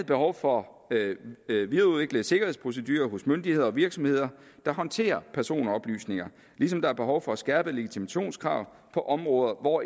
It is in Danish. behov for at videreudvikle sikkerhedsprocedurer hos myndigheder og virksomheder der håndterer personoplysninger ligesom der er behov for at skærpe legitimationskrav på områder hvor